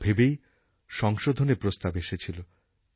এই সব ভেবেই সংশোধনের প্রস্তাব এসেছিল